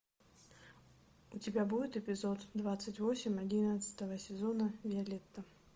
у тебя будет эпизод двадцать восемь одиннадцатого сезона виолетта